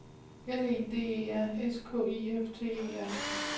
L E D E R S K I F T E R